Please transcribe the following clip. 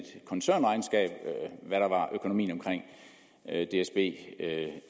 koncernregnskab hvad der var økonomien omkring dsb